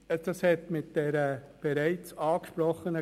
Die Stimmenzähler sammeln die Kuverts ein.